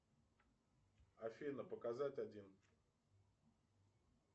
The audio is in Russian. афина показать один